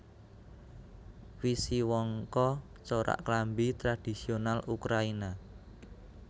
Wisiwanka corak klambi tradhisiyonal Ukrayina